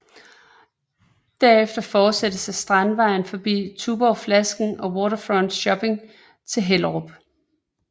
Derefter fortsættes ad Strandvejen forbi Tuborgflasken og Waterfront Shopping til Hellerup